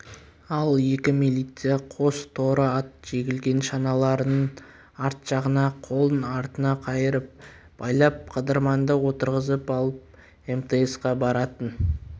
ал екі милиция қос торы ат жегілген шаналарының арт жағына қолын артына қайырып байлап қыдырманды отырғызып алып мтс-қа баратын